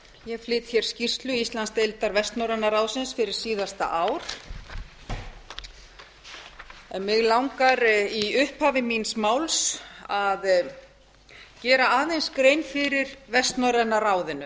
ég flyt hér skýrslu íslandsdeildar vestnorræna ráðsins fyrir síðasta ári mig langar í upphafi míns máls að gera aðeins grein fyrir vestnorræna ráðinu